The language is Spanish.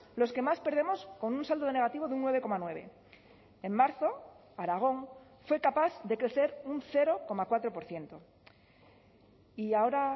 los que más perdemos con un saldo negativo de un nueve coma nueve en marzo aragón fue capaz de crecer un cero coma cuatro por ciento y ahora